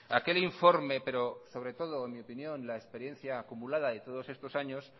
aquel informe pero sobre todo en mi opinión la experiencia acumulada de todos estos años